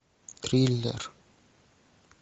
триллер